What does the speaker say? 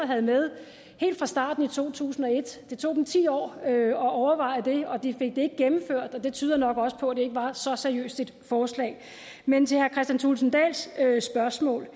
havde med helt fra starten i to tusind og et det tog dem ti år at overveje det og de fik det ikke gennemført det tyder også på at det nok ikke var så seriøst et forslag men til herre kristian thulesen dahls spørgsmål